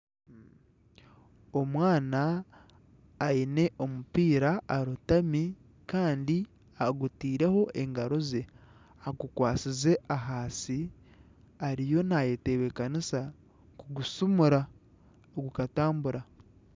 Omwana aine omupiira arotami kandi aguteireho engaro ze, agikwasize ahansi ariyo nayetebekanisa kuhushumura gukatambura.